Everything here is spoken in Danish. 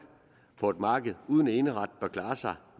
på et marked uden eneret bør klare sig